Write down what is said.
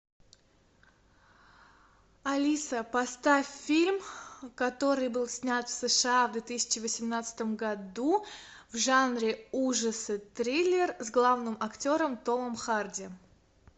алиса поставь фильм который был снят в сша в две тысячи восемнадцатом году в жанре ужасы триллер с главным актером томом харди